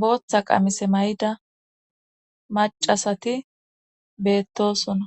booththa qamise may7ida macasati beettosona